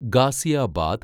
Ghaziabad